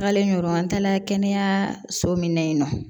Tagalen yɔrɔ an taala kɛnɛyaso min na yen nɔ